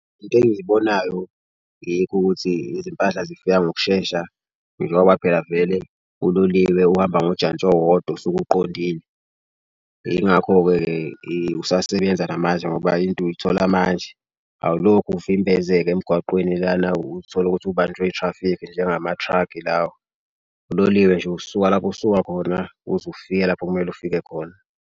Into engibonayo yikho ukuthi izimpahla zifika ngokushesha njengoba phela vele uloliwe uhamba ngojantshi owodwa osuke uqondile. Yingakho-ke-ke usasebenza njengoba into uyithola manje awulokhu uvimbezeka emgwaqweni lana. Utholukuthi ubanjwe i-traffic-i njengama-truck-i lawa. Uloliwe nje usuka lapho osuka khona uze ufike lapho kumele ufike khona.